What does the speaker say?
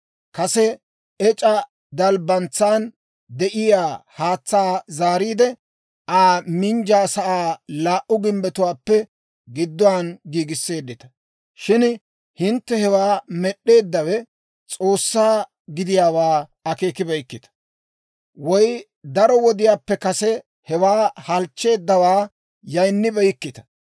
Kase ec'a dalbbantsan de'iyaa haatsaa zaariide, Aa minjjiyaasaa laa"u gimbbetuwaappe gidduwaan giigisseeddita. Shin hintte hewaa med'd'eeddawe S'oossaa gidiyaawaa akeekibeykkita; woy daro wodiyaappe kase hewaa halchcheeddawaa yaynnibeykkita.